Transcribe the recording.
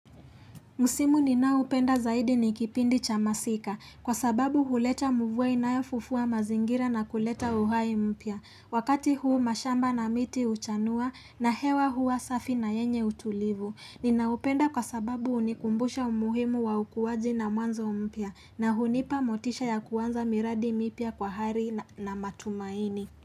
Msimu ninaupenda zaidi nikipindi cha masika kwa sababu huleta mvua inayofufua mazingira na kuleta uhai mpia. Wakati huu mashamba na miti uchanua na hewa hua safi na yenye utulivu. Ninaupenda kwa sababu unikumbusha umuhimu wa ukuwaji na mwanzo mpia na hunipa motisha ya kuwanza miradi mipia kwa hari na matumaini.